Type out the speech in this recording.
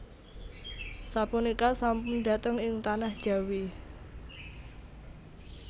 Sapunika sampun dhateng ing tanah Jawi